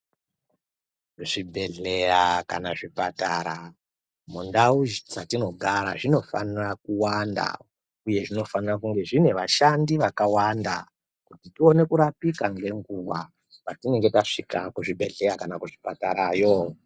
Zvibhedhleya kana zvipatara mundau dzatinogara zvinofanira kuwanda uye zvinofanira kunge zvine vashandi vakawanda kuti tione kurapika ngenguwa payinenge tasvika kuzvibhedhleya kana kuzvipatarayo.